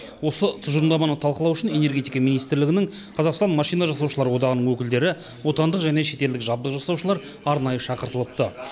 осы тұжырымдаманы талқылау үшін энергетика министрлігінің қазақстан машина жасаушылар одағының өкілдері отандық және шетелдік жабдық жасаушылар арнайы шақыртылыпты